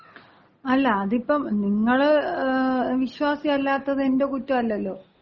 അല്ല, അത് ഇപ്പൊ നിങ്ങള് വിശ്വാസി അല്ലാത്തത് എന്‍റെ കുറ്റമല്ലല്ലോ.